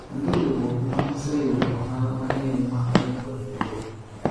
onge riwruok ma oseyudo ohala mang'eny ma oingo riwruogni